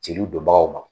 Jeliw donbagaw ma